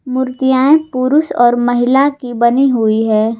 मूर्तियां पुरुष और महिला की बनी हुई है।